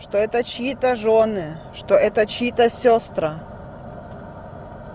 что это чьи-то жёны что это чьи-то сёстра